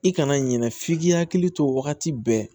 I kana ɲinɛ f'i k'i hakili to wagati bɛɛ